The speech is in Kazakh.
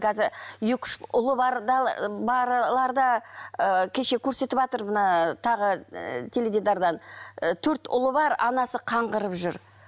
қазір екі үш ұлы барлар да ы кеше көрсетіватыр мына тағы ы теледидардан і төрт ұлы бар анасы қаңғырып жүр